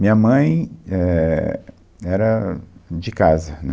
Minha mãe éh era de casa.